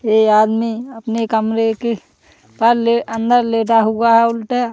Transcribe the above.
ये आदमी अपने कमरे के पर-ले अंदर लेटा हुआ है उल्टा।